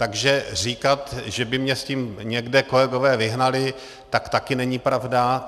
Takže říkat, že by mě s tím někde kolegové vyhnali, tak také není pravda.